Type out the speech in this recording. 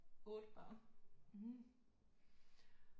8 børn